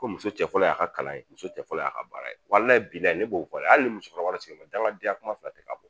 Ko muso cɛ fɔlɔ y a ka kalan ye , muso cɛ fɔlɔ y'a ka baara ye, ne b'o fɔ dɛ, hali ni musokɔrɔba dangadenya kuma fila tɛ ka bɔ